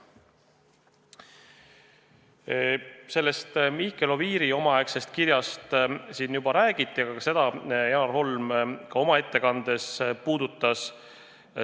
Sellest Mihkel Oviiri omaaegsest kirjast siin juba räägiti, aga seda puudutas ka Janar Holm oma ettekandes.